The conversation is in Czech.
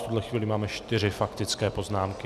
V tuhle chvíli máme čtyři faktické poznámky.